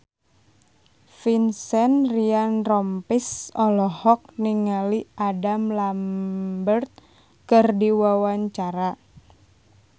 Vincent Ryan Rompies olohok ningali Adam Lambert keur diwawancara